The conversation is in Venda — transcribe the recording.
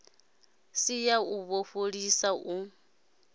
si ya u fholisa u